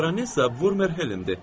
Baronessa Vurmer Helendir.